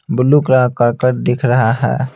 Blue colour कर कर दिख रहा है.